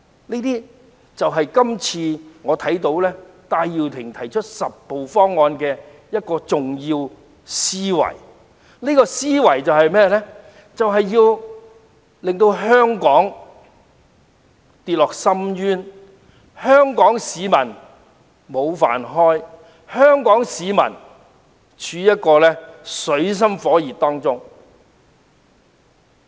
這些就是我看到戴耀廷今次提出"十步方案"的重要思維，務求令香港跌落深淵，弄丟香港市民的"飯碗"，要香港市民處於水深火熱之中。